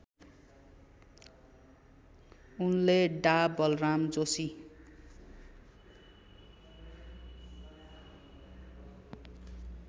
उनले डा बलराम जोशी